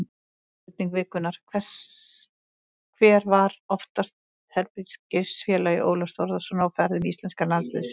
Spurning vikunnar: Hver var oftast herbergisfélagi Ólafs Þórðarsonar á ferðum íslenska landsliðsins?